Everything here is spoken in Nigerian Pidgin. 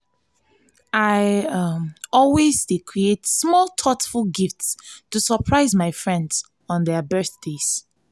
i always dey create small thoughtful gifts to surprise my friends on their birthdays.